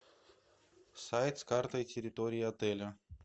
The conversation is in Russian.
сайт с картой территории отеля